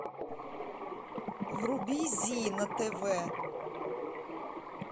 вруби зи на тв